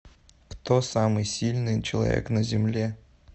кто самый сильный человек на земле